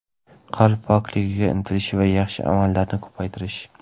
Qalb pokligiga intilish va yaxshi amallarni ko‘paytirish.